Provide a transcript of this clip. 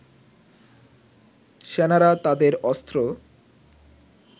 সেনারা তাদের অস্ত্র